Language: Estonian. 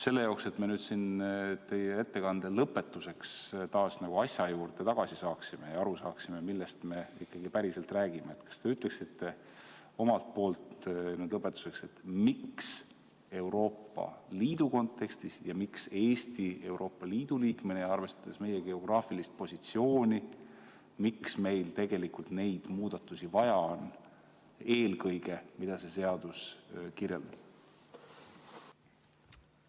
Selleks, et me siin teie ettekande lõpetuseks taas asja juurde tagasi jõuaksime ja aru saaksime, millest me ikkagi räägime, kas te ütleksite lõpetuseks, miks Euroopa Liidu kontekstis ja miks Eestil Euroopa Liidu liikmena, arvestades meie geograafilist positsiooni, tegelikult neid muudatusi, mida see seadus kirjeldab, vaja on?